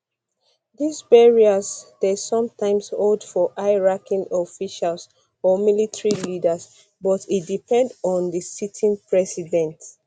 dis burials dey sometimes hold for high ranking officials or military leaders but e depend on di sitting president